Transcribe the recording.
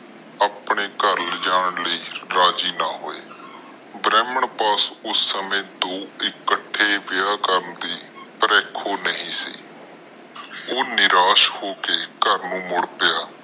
ਆਪਣੇ ਘਰ ਲਿਜਾਣ ਲਾਇ ਰਾਜੀ ਨਾ ਹੋਏ ਬ੍ਰਾਹਮਣ ਬਸ ਦੋ ਇਕਤੇ ਵਿਆਹ ਕਰਨ ਲਾਇ ਰੱਖੋ ਨਹੀਂ ਸੀ ਉਹ ਨਿਰਾਸ਼ ਹੋ ਕੇ ਆਪਣੇ ਘਰ ਮੁੜ ਗਿਆ